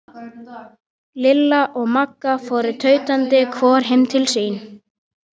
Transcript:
Lilla og Magga fóru tautandi hvor heim til sín.